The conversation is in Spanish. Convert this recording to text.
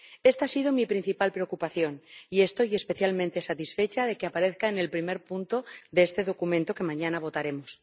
Esta ha sido mi principal preocupación y estoy especialmente satisfecha de que aparezca en el primer punto de este documento que mañana votaremos.